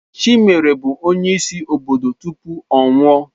Chimere bụ onyeisi obodo tupu ọ nwụọ.